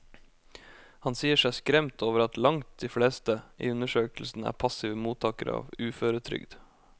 Han sier seg skremt over at langt de fleste i undersøkelsen er passive mottagere av uføretrygd.